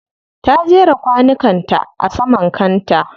Ta jera kwanukan ta a saman kanta.